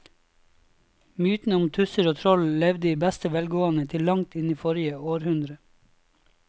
Mytene om tusser og troll levde i beste velgående til langt inn i forrige århundre.